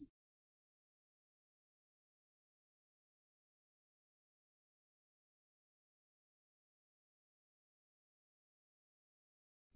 એ જ કારણ છે